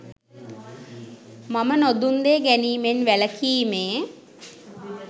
මම නොදුන් දේ ගැනීමෙන් වැළකීමේ